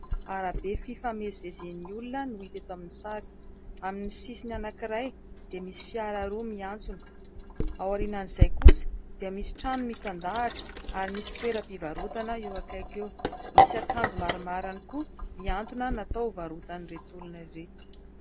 Arabe fifamezivezen'ny olona no hita eto amin'ny sary : amin'ny sisiny anankiray dia misy fiara roa miantsona, ao aorian'izay kosa dia misy trano mitandahatra ary misy toeram-pivarotana eo akaiky eo; misy akanjo maromaro ihany koa mihantona natao hovarotan'i reto olona ireto.